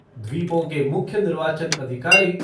द्वीपों के मुख्य निर्वाचन अधिकारी